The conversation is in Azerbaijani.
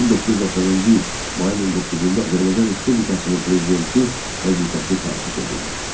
1990-cı il mayın 19-da Azərbaycan Respublikasının prezidenti vəzifəsi təsis edildi.